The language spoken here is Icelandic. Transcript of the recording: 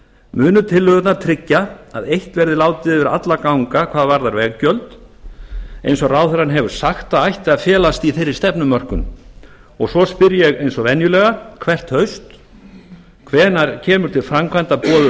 munu tillögurnar tryggja að eitt verði látið yfir alla ganga hvað varðar veggjöld eins og ráðherrann hefur sagt að ætti að felast í þeirri stefnumörkun svo spyr ég eins og venjulega hvert haust annar hvenær kemur til framkvæmda boðuð